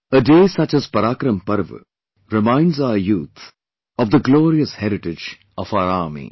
A day such as ParaakaramPrava reminds our youth of the glorious heritage of our Army